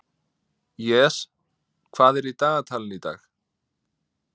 Jes, hvað er í dagatalinu í dag?